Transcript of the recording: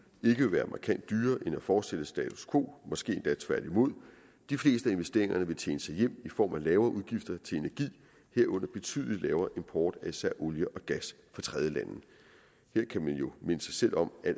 vil være markant dyrere end at fortsætte status quo måske endda tværtimod de fleste af investeringerne vil tjene sig hjem i form af lavere udgifter til energi herunder betydelig lavere import af især olie og gas fra tredjelande her kan man jo minde sig selv om at